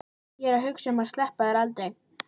Ég er að hugsa um að sleppa þér aldrei.